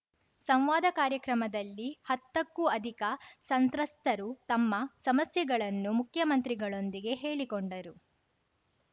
ಸಂವಾದ ಕಾರ್ಯಕ್ರಮದಲ್ಲಿ ಹತ್ತಕ್ಕೂ ಅಧಿಕ ಸಂತ್ರಸ್ತರು ತಮ್ಮ ಸಮಸ್ಯೆಗಳನ್ನು ಮುಖ್ಯಮಂತ್ರಿಗಳೊಂದಿಗೆ ಹೇಳಿಕೊಂಡರು